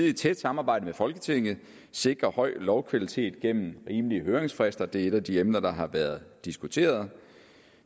i et tæt samarbejde med folketinget vil sikre høj lovkvalitet igennem rimelige høringsfrister det er et af de emner der har været diskuteret